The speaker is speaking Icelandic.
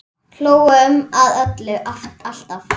Hlógum að öllu, alltaf.